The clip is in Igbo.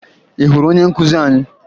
Ị hụrụ onye nkụzi anyị?